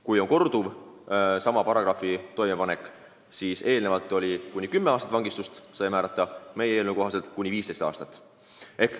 Kui on korduv sama paragrahvi alla minev tegu, siis seni saab selle eest kuni kümme aastat vangistust määrata, meie eelnõu kohaselt kuni 15 aastat.